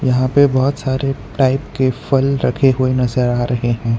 यहां पे बहोत सारे टाइप के फल रखे हुए नजर आ रहे हैं।